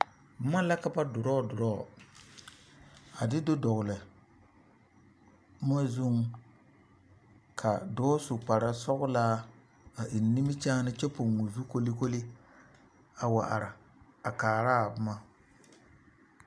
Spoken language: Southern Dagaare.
Boma la ka ba draw draw a de do dɔgle moɔ zuŋ ka dɔɔ su kparesɔglaa a eŋ nimikyaane kyɛ poŋ o zu kolikoli a wa are a kaaraa boma.